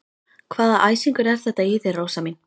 Hvaða æsingur er þetta í þér, Rósa mín?